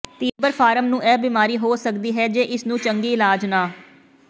ਤੀਬਰ ਫਾਰਮ ਨੂੰ ਇਹ ਬੀਮਾਰੀ ਹੋ ਸਕਦੀ ਹੈ ਜੇ ਇਸ ਨੂੰ ਚੰਗੀ ਇਲਾਜ ਨਾ